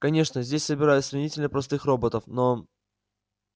конечно здесь собирают сравнительно простых роботов но